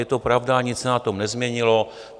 Je to pravda, nic se na tom nezměnilo.